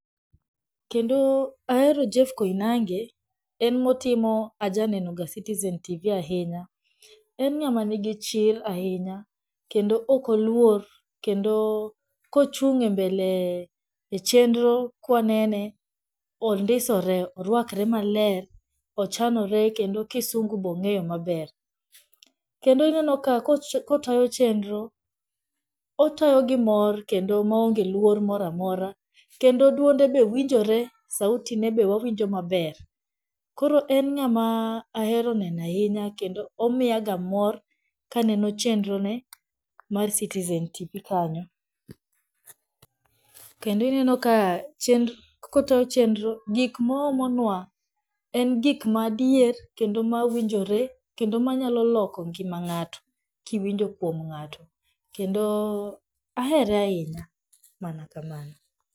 Kendo ahero Jeff Koinange en motimo ajanenoga citizen tv ahinya, en ng'ama nigi chir ahinya kendo okoluor kendo kuchung' e mbele chenro kwanene, ondisore, orwakre maler, ochanore kendo kisungu be ong'eyo maber. Kendo ineno ka kotayo chenro, otayo gi mor kendo maonge luor moramora, kendo duonde be winjore, sauti ne be wawinjo maber. Koro en ng'ama ahero neno ahinya kendo omiyaga mor kaneno chenro ne mar citizen tv kanyo, lendo ineno ka kotayo chenro gikmaoomo nwa en gikmaadier kendo mawinjore kendo manyaloloko ngima ng'ato kiwinjo kwom ng'ato kendo ahere ahinya, mana kamano.